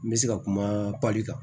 N bɛ se ka kuma pali kan